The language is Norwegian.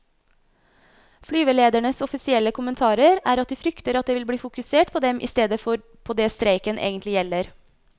Flyveledernes offisielle kommentarer er at de frykter at det vil bli fokusert på dem i stedet for på det streiken egentlig gjelder.